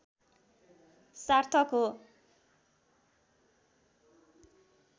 सार्थक हो